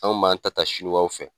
An b'an ta ta siniwaw fɛ